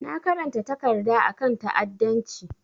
Na karanta takarda a kan ta'adancci.